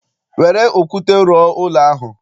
Were okwute rụọ ụlọ ahụ!